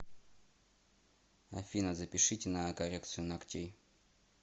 афина запишите на коррекцию ногтей